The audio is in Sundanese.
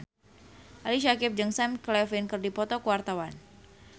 Ali Syakieb jeung Sam Claflin keur dipoto ku wartawan